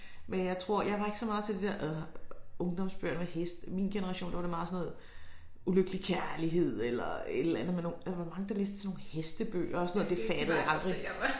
Men jeg tror jeg var ikke så meget til det der ungdomsbøger med heste min generation der var det meget sådan noget ulykkelig kærlighed eller et eller andet med nogen altså der var mange der læste sådan nogle hestebøger det fattede jeg aldrig